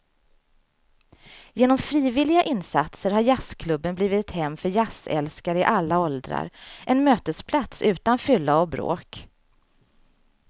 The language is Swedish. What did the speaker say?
Genom frivilliga insatser har jazzklubben blivit ett hem för jazzälskare i alla åldrar, en mötesplats utan fylla och bråk.